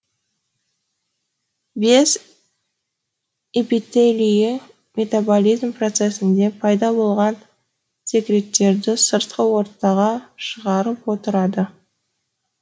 без эпителийі метаболизм процесінде пайда болған секреттерді сыртқы ортаға шығарып отырады